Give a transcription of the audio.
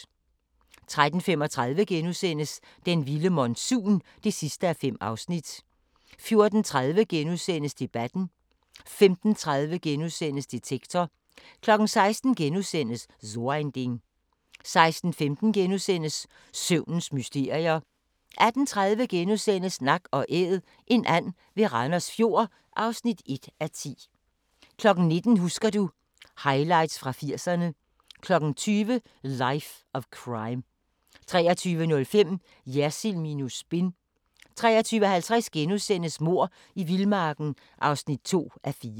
13:35: Den vilde monsun (5:5)* 14:30: Debatten * 15:30: Detektor * 16:00: So ein Ding * 16:15: Søvnens mysterier * 18:30: Nak & æd - en and ved Randers Fjord (1:10)* 19:00: Husker du ... Highlights fra 80'erne 20:00: Life of Crime 23:05: Jersild minus spin 23:50: Mord i vildmarken (2:4)*